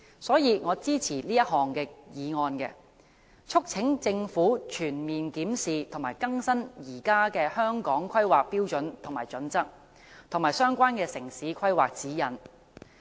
所以，我支持這項議案，促請政府全面檢視和更新現時的《香港規劃標準與準則》和相關的城市規劃指引。